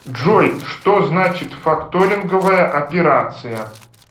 джой что значит факторинговая операция